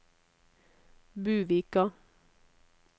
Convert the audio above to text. Buvika